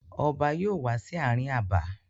Ọba yóò wá sí ààrin abà.